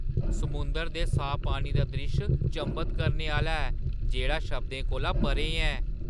समुंदरै दे साफ पानी दा द्रिश्श चंभत करने आह्‌ला ऐ जेह्‌ड़ा शब्दें कोला परें ऐ!